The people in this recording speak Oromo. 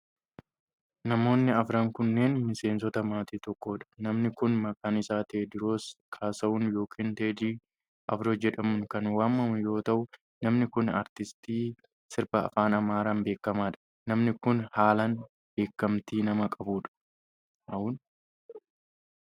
Namoonni afran kunneen, miseensota maatii tokkoo dha. Namni kun maqaan isaa Teewdroos Kaasaahun yokin Teedii Afroo jedhamuun kan waamamu yoo ta'u, namni kun aartisti sirba afaan Amaaraa beekamaa dha. Namni kun, haalan beekamtii nama qabuu dha.